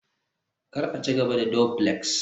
kar a ci gaba da duflex